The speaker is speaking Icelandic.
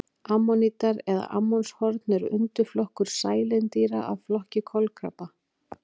Ammonítar eða ammonshorn er undirflokkur sælindýra af flokki kolkrabba.